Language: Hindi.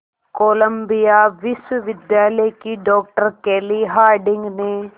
कोलंबिया विश्वविद्यालय की डॉक्टर केली हार्डिंग ने